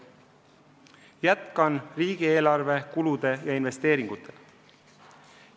Jätkan riigieelarve kulude ja investeeringutega.